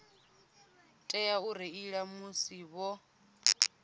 tea u reila musi vho